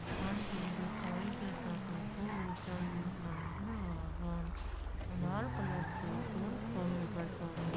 मंदिर दिखाई देताटे। खूब ऊँचा ई मंदील बा जवन अनार कलर से पेंट कइल बा सभे।